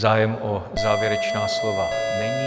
Zájem o závěrečná slova není.